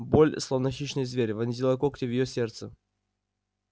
боль словно хищный зверь вонзила когти в её сердце